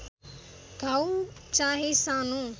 घाउ चाहे सानो